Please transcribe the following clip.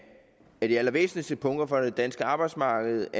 de allervæsentligste punkter for det danske arbejdsmarked